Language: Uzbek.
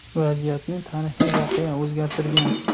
Vaziyatni tarixiy voqea o‘zgartirgan.